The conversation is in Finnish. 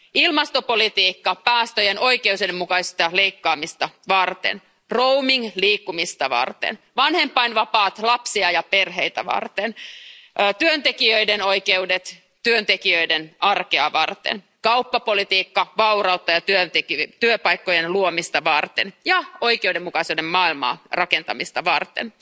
ilmastopolitiikka päästöjen oikeudenmukaista leikkaamista varten, roaming liikkumista varten, vanhempainvapaat lapsia ja perheitä varten, työntekijöiden oikeudet työntekijöiden arkea varten, kauppapolitiikka vaurautta ja työpaikkojen luomista varten ja oikeudenmukaisen maailman rakentamista varten.